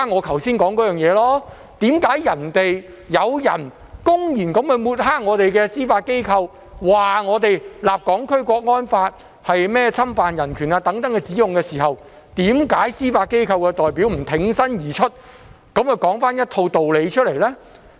為甚麼有人公然抹黑我們的司法機構，指控我們訂立《香港國安法》是侵犯人權時，司法機構代表沒有挺身而出作出澄清呢？